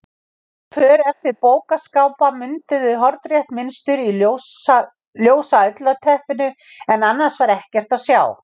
För eftir bókaskápa mynduðu hornrétt mynstur í ljósu ullarteppinu en annars var ekkert að sjá.